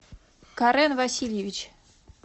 карен васильевич